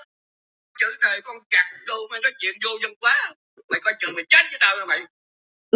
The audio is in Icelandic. Ég hlakka líka æðislega til að sjá þig.